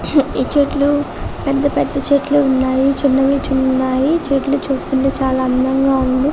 ఈ చెట్లు పెద్ద పెద్ద చెట్లు ఉన్నాయి చిన్నవి ఉన్నాయి చెట్లు చూస్తుంటే చాలా అందంగా ఉంది.